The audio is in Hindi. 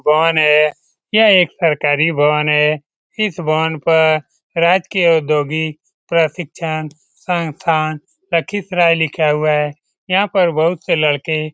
भवन है यह एक सरकारी भवन है इस भवन पर राजकीय अद्योगी प्रशिक्षण संस्थान लखीसराय लिखा हुआ है यहां पर बहुत से लड़के --